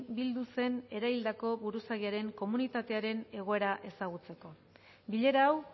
bildu zen eraildako buruzagiaren komunitatearen egoera ezagutzeko bilera hau